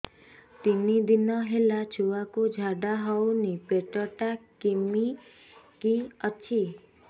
ତିନି ଦିନ ହେଲା ଛୁଆକୁ ଝାଡ଼ା ହଉନି ପେଟ ଟା କିମି କି ଅଛି